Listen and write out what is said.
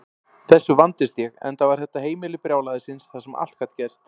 Þessu vandist ég, enda var þetta heimili brjálæðisins þar sem allt gat gerst.